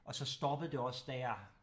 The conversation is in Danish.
Og så stoppede det også da jeg